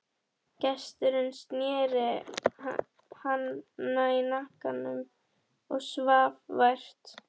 Gesturinn sneri í hana hnakkanum og svaf vært.